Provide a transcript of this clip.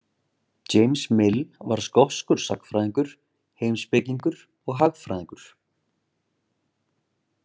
James Mill var skoskur sagnfræðingur, heimspekingur og hagfræðingur.